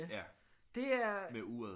Ja med uret